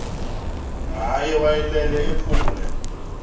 ngaye wayelele ephumle